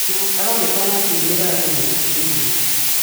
Aronekana akinĩre andũ mũtitũinĩ